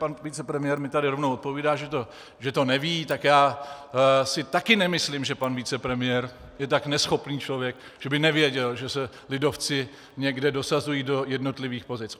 Pan vicepremiér mi tady rovnou odpovídá, že to neví, tak já si taky nemyslím, že pan vicepremiér je tak neschopný člověk, že by nevěděl, že se lidovci někde dosazují do jednotlivých pozic.